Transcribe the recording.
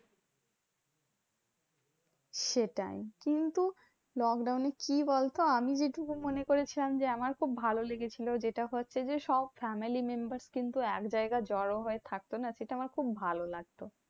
সেটাই, কিন্তু lockdown এ কি বলতো? আমি যেটুকু মনে করেছি আমি যে, আমার খুব ভালো লেগেছিলো যেটা হচ্ছে যে সব family members কিন্তু একজায়গায় জড়ো হয় থাকতো না সেটা আমার খুব ভালো লাগতো।